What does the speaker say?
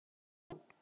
Það varst þú.